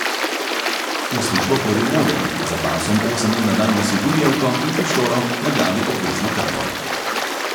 V službo hodi v modrem, za pasom osem ur na dan nosi gumijevko in pištolo, na glavi obvezno kapo.